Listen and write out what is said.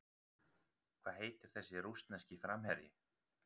Hvað heitir þessi rússneski framherji?